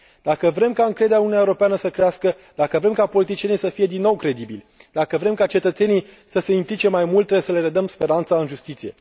Dacă vrem ca încrederea în Uniunea Europeană să crească, dacă vrem ca politicienii să fie din nou credibili, dacă vrem ca cetățenii să se implice mai mult, trebuie să le redăm speranța în justiție.